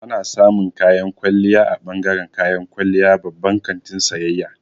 Ana samun kayan kwalliya a bangaren kayan kwalliya babban kantin sayayya.